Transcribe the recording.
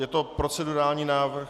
Je to procedurální návrh.